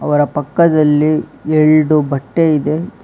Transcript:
ಅವರ ಪಕ್ಕದಲ್ಲಿ ಎರಡು ಬಟ್ಟೆ ಇದೆ.